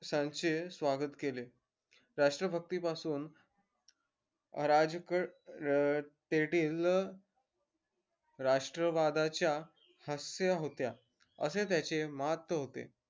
सांचे स्वागत केले राष्ट्र भक्ति पासून राष्ट्र वादाच्या हास्य होत्या असे त्याचे मात होते